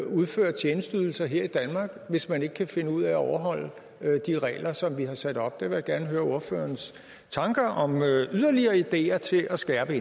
udføre tjenesteydelser her i danmark hvis man ikke kan finde ud af at overholde de regler som vi har sat op jeg vil gerne høre ordførerens tanker om yderligere ideer til at skærpe